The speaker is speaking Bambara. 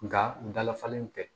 Nka n dalafalen tɛ